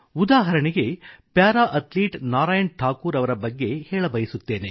ಉದಾಹರಣೆಗೆ para athlete Narayan Thakur ಅವರ ಬಗ್ಗೆ ಹೇಳಬಯಸುತ್ತೇನೆ